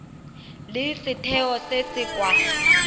le setheo se se kwa